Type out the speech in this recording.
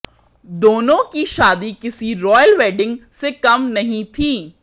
दोनों की शादी किसी रॉयल वेडिंग से कम नहीं थी